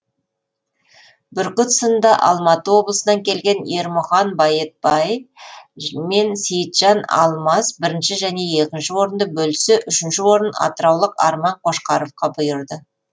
бүркіт сынында алматы облысынан келген ермұхан байетбай мен сейітжан алмас бірінші және екінші орынды бөліссе үшінші орын атыраулық арман қошқаровқа бұйырды